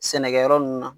Sɛnɛkɛyɔrɔ ninnu na